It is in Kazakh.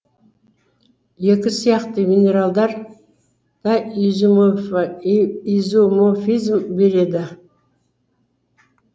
екі сияқты минералдар да изоморфизм береді